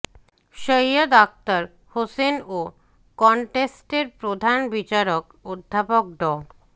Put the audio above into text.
সৈয়দ আকতার হোসেন ও কনটেস্টের প্রধান বিচারক অধ্যাপক ড